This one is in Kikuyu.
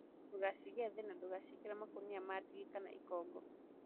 Ndũgashige thĩ na ndũkaciĩkĩre makũniainĩ ma ndigi kana ikongo